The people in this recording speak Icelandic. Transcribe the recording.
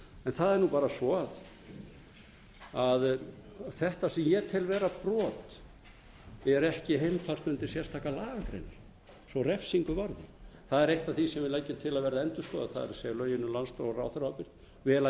það er bara svo að þetta sem ég tel vera brot er ekki heimfært undir sérstakar lagagreinar svo refsingu varði það er eitt af því sem við leggjum til að verði endurskoðað það er lögin um landsdóm og ráðherraábyrgð vel að